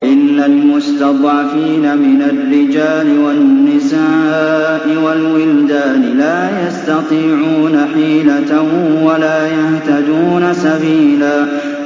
إِلَّا الْمُسْتَضْعَفِينَ مِنَ الرِّجَالِ وَالنِّسَاءِ وَالْوِلْدَانِ لَا يَسْتَطِيعُونَ حِيلَةً وَلَا يَهْتَدُونَ سَبِيلًا